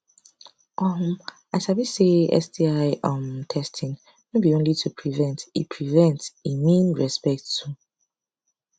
um i sabi say sti um testing no be only to prevent e prevent e mean respect too